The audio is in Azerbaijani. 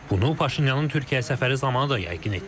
Bunu Paşinyanın Türkiyə səfəri zamanı da yəqin etdik.